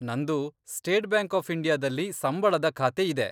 ನಂದು State Bank of ಇಂಡಿಯಾದಲ್ಲಿ ಸಂಬಳದ ಖಾತೆ ಇದೆ.